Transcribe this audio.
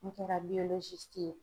N kɛra ye.